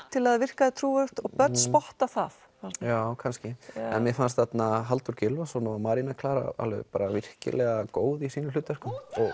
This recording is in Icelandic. til að það virkaði trúverðugt og börn spotta það já kannski en mér fannst Halldór Gylfason og Maríanna Klara alveg virkilega góð í sínu hlutverki